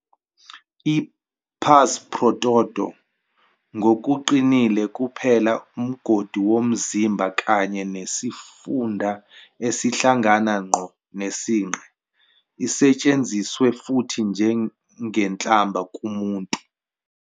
I-pars pro toto, ngokuqinile kuphela umgodi womzimba kanye nesifunda esihlangana ngqo nesinqe, isetshenziswe futhi njengenhlamba kumuntu.